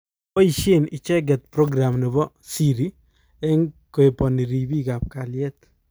Kopaishe icheket program nebo Siri eng kohepani ripiik ap kaliet